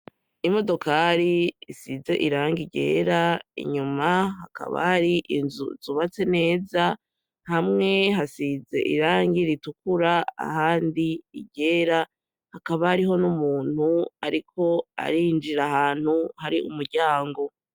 Imodoka isize irangi ryera inyuma hakaba hari inzu zubatse neza hamwe hasize irangi ritukura ahandi iryera hakaba hariho numuntu ariko arinjira ahanntu hariho umuryango